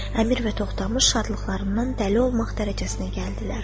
Əmir və Toxdamış şadlıqlarından dəli olmaq dərəcəsinə gəldilər.